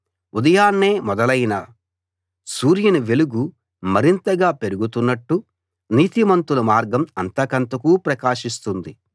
ఉదయాన్నే మొదలైన సూర్యుని వెలుగు మరింతగా పెరుగుతున్నట్టు నీతిమంతుల మార్గం అంతకంతకూ ప్రకాశిస్తుంది